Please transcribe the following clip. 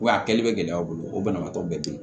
Wa a kɛli bɛ gɛlɛya u bolo o banabaatɔ bɛɛ bɛ yen